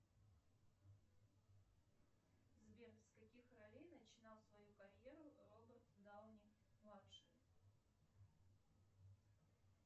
сбер с каких ролей начинал свою карьеру роберт дауни младший